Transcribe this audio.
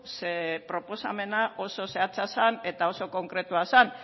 ze proposamena oso zehatza zen eta oso konkretua zen